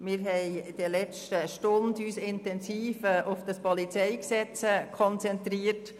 Wir haben uns in der letzten Stunde intensiv auf das PolG konzentriert.